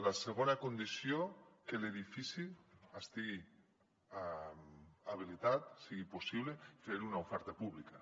la segona condició que l’edifici estigui habilitat sigui possible fer hi una oferta pública